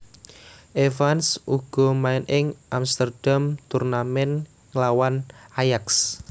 Evans uga main ing Amsterdam Tournament nglawan Ajax